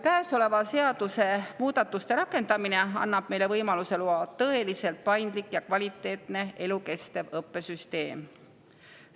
Käesolevate seadusemuudatuste rakendamine annab meile võimaluse luua tõeliselt paindlik ja kvaliteetne elukestva õppe süsteem.